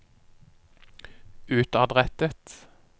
utadrettet